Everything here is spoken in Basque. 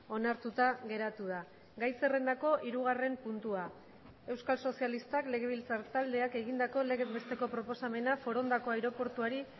onartuta geratu da gai zerrendako hirugarren puntua euskal sozialistak legebiltzar taldeak egindako legez besteko proposamena forondako aireportuari